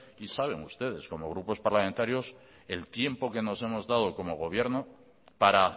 y saben ustedes como grupos parlamentarios el tiempo que nos hemos dado como gobierno para